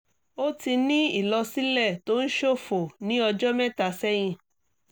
o ti ní ìlọ̀sílẹ̀ tó ń ṣòfò ní ọjọ́ mẹ́ta sẹ́yìn